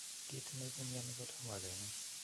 Kit ne ipu mioni kotomo kenai.